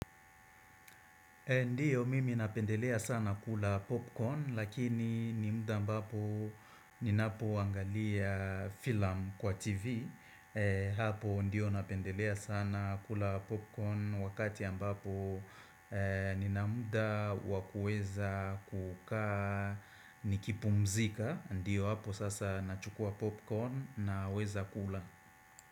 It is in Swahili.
Ndio mimi napendelea sana kula popcorn lakini ni muda ambapo ninapoangalia filamu kwa TV Hapo ndio napendelea sana kula popcorn wakati ambapo nina muda wa kuweza kukaa nikipumzika, ndio hapo sasa nachukua popcorn naweza kula.